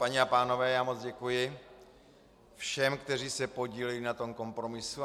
Paní a pánové, já moc děkuji všem, kteří se podíleli na tom kompromisu.